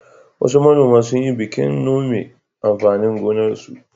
Wasu manoma sun yi bikin nome amfanin gonarsu.